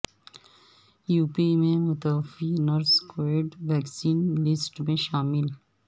UP میں متوفی nurse covid vaccine list میں شامل